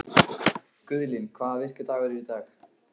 Guðlín, hvaða vikudagur er í dag?